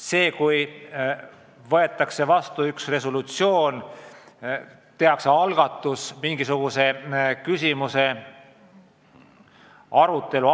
Seal võetakse vastu resolutsioone, tehakse algatusi alustada mingisuguse küsimuse arutelu.